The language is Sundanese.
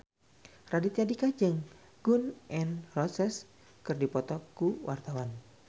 Raditya Dika jeung Gun N Roses keur dipoto ku wartawan